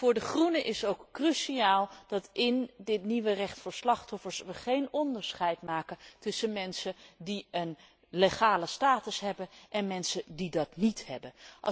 Voor de Groenen is het ook cruciaal dat wij in dit nieuwe recht voor slachtoffers geen onderscheid maken tussen mensen die een legale status hebben en mensen die dat niet hebben.